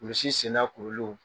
Kulusi senda kuruliw